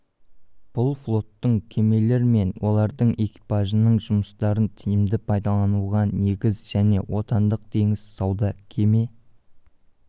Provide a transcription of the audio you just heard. бұл флоттың кемелер мен олардың экипажының жұмыстарын тиімді пайдалануға негіз және отандық теңіз сауда кеме